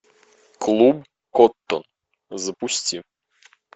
клуб коттон запусти